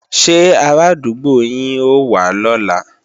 Ṣé arádúgbò yín ó wá lọ́la